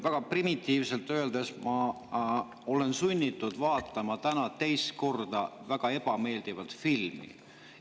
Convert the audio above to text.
Väga primitiivselt öeldes olen täna sunnitud teist korda vaatama väga ebameeldivat filmi.